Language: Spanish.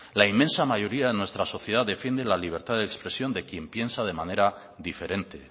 la inmensa mayoría de nuestra sociedad defiende la libertad de expresión de quien piensa de manera diferente